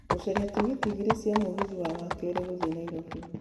gũcaria tigiti igĩrĩ cia mũgithi wa wakerĩ gũthiĩ Nairobi